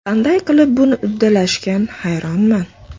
Qanday qilib buni uddalashgan hayronman.